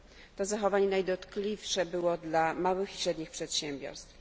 To zachowanie najdotkliwsze było dla małych i średnich przedsiębiorstw.